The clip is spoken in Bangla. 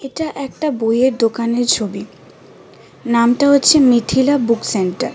এটা একটা বইয়ের দোকানে ছবি নামটা হচ্ছে মিথিলা বুক সেন্টার .